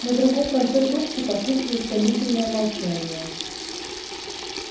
на другом конце трубки послышалось томительное молчание